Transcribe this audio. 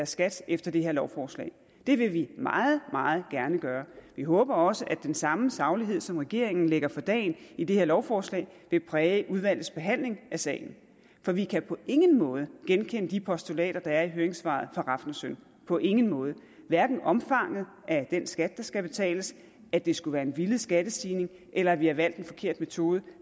skat efter det her lovforslag det vil vi meget meget gerne gøre vi håber også at den samme saglighed som regeringen lægger for dagen i det her lovforslag vil præge udvalgets behandling af sagen for vi kan på ingen måde genkende de postulater der er i høringssvaret fra rafn søn på ingen måde hverken omfanget af den skat der skal betales at det skulle være en villet skattestigning eller at vi har valgt en forkert metode